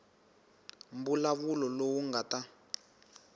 mbulavulo lowu u nga ta